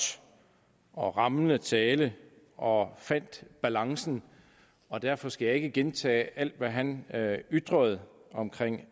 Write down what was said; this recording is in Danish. og rammende tale og fandt balancen og derfor skal jeg ikke gentage alt hvad han ytrede om